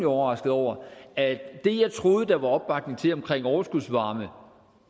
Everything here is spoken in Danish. overrasket over at det jeg troede der var opbakning til omkring overskudsvarme